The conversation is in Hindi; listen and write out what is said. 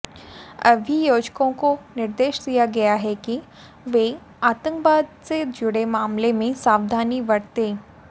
अभियोजकों को निर्देश दिया गया है कि वे आतंकवाद से जुड़े मामलों में सावधानी बरतें